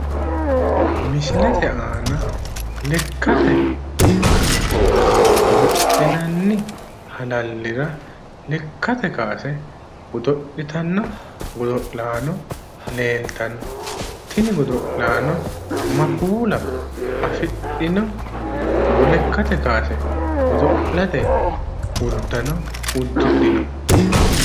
Misilete aana lekkate kaase godo'linanni halallira lekkate kaase godo'littanno godo'laano leeltanno tini godo'laano ma kuulaa afidhino lekkate kaase godo'late uddano uddidhino?